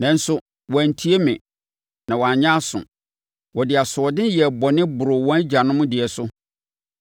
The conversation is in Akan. Nanso wɔantie me na wɔanyɛ aso. Wɔde asoɔden yɛɛ bɔne boroo wɔn agyanom deɛ so.’